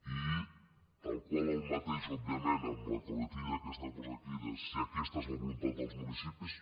i tal qual el mateix òbviament amb la coletilla aquesta que posa aquí de si aquesta és la voluntat dels municipis